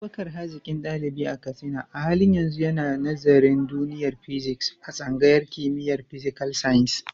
Abubakar, hazikin dalibi a Katsina, a halin yanzu yana nazarin duniyar Physics a tsangayar kimiyyar Physical Sciences.